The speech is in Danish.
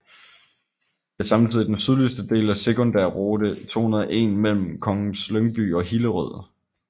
Det er samtidig den sydligste del af Sekundærrute 201 mellem Kongens Lyngby og Hillerød